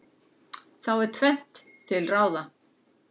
Þá er tvennt til ráða.